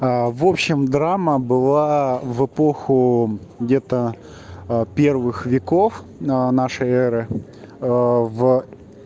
а в общем драма была в эпоху где-то а первых веков на нашей эры в